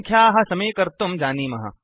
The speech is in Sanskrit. संख्याः समीकर्तुं जानीमः